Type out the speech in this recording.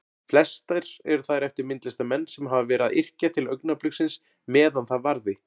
Flestar eru þær eftir myndlistarmenn sem hafa verið að yrkja til augnabliksins meðan það varði.